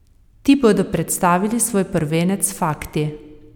Ti bodo predstavili svoj prvenec Fakti.